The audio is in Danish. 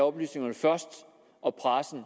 oplysningerne først og pressen